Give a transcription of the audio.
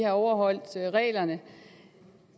overholdt reglerne